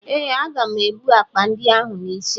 Ee, aga m ebu akpa ndị ahụ n'isi m.